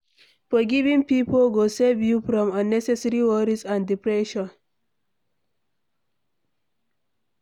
Forgiving pipo go save you from unnecessary worries and depression